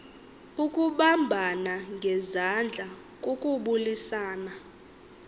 ukubambana ngezandla kukubulisana